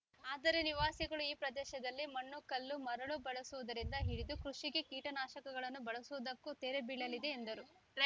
ಆದರೆ ನಿವಾಸಿಗಳು ಈ ಪ್ರದೇಶದಲ್ಲಿ ಮಣ್ಣು ಕಲ್ಲು ಮರಳು ಬಳಸುವುದರಿಂದ ಹಿಡಿದು ಕೃಷಿಗೆ ಕೀಟನಾಶಕಗಳನ್ನು ಬಳಸುವುದಕ್ಕೂ ತೆರೆ ಬೀಳಲಿದೆ ಎಂದರು